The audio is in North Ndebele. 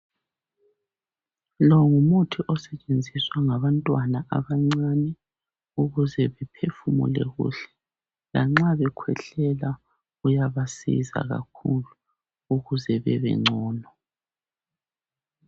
Lo ngumuthi osetshenziswa ngabantwana abancane ukuze baphefumule kuhle lanxa bekhwehlela kuyabasiza kakhulu ukuze babengcono.